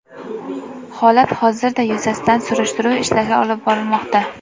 Holat hozirda yuzasidan surishtiruv ishlari olib borilmoqda.